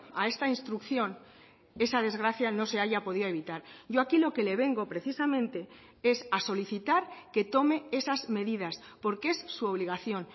a esta instrucción esa desgracia no se haya podido evitar yo aquí lo que le vengo precisamente es a solicitar que tome esas medidas porque es su obligación